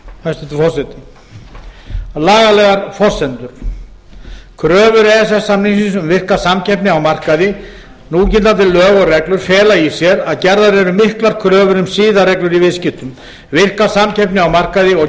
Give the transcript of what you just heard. hæstvirtur forseti lagalegar forsendur a kröfur e e s samnings um virka samkeppni á markaði núgildandi lög og reglur fela í sér að gerðar eru miklar kröfur um siðareglur í viðskiptum virka samkeppni á markaði og